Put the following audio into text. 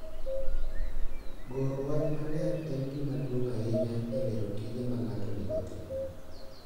Goro wach maler en gima duong’ ahinya e lero tije ma ng’ato onego otim.